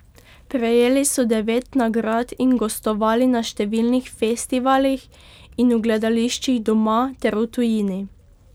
Prejeli so devet nagrad in gostovali na številnih festivalih in v gledališčih doma ter v tujini.